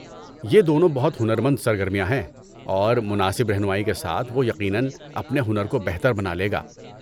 یہ دونوں بہت ہنرمند سرگرمیاں ہیں اور مناسب رہنمائی کے ساتھ وہ یقیناً اپنے ہنر کو بہتر بنا لے گا۔